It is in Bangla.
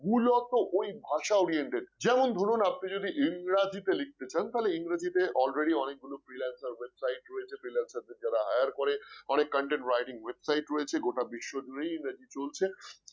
মূলত ওই ভাষা oriented যেমন ধরুন আপনি ইংরেজিতে লিখতে চান তাহলে ইংরেজিতে already অনেকগুলো freelancer website রয়েছে freelancer দের যারা hire করে অনেক content writing website রয়েছে গোটা বিশ্ব জুড়েই ইংরেজি চলছে